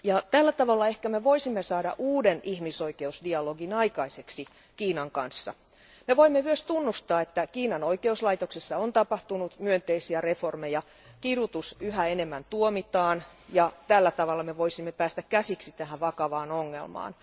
Tällä tavalla me ehkä voisimme saada aikaiseksi uuden ihmisoikeusdialogin Kiinan kanssa. Me voimme myös tunnustaa, että Kiinan oikeuslaitoksessa on tapahtunut myönteisiä uudistuksia, kidutus yhä enemmän tuomitaan, ja tällä tavalla me voisimme päästä käsiksi tähän vakavaan ongelmaan.